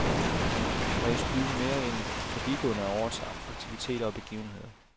Præges byen mere end forbigående af årets aktiviteter og begivenheder?